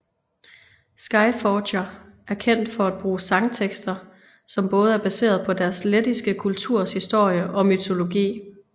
Skyforger er kendt for at bruge sangtekster som både er baseret på deres lettiske kulturs historie og mytologi